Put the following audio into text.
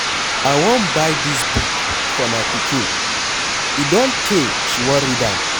I wan buy dis book for my pikin. E don tey she wan read am.